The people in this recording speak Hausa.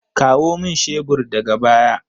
Kawo min shebur daga baya!